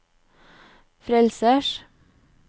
frelsers